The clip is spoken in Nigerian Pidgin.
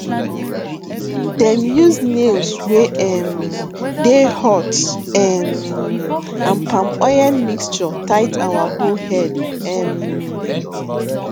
dem use nails wey um dey hot um and palm oil mixture tight our hoe head um